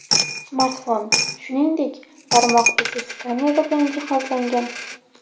Smartfon, shuingdek, barmoq izi skaneri bilan jihozlangan.